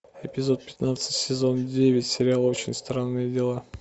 эпизод пятнадцать сезон девять сериал очень страные дела